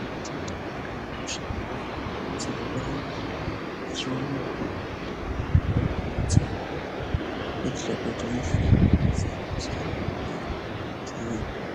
Matenda anowanikwa neanakadzi vabva kubara akawanda maningi izvi zvinoita kuti hurumende idetsere panyaya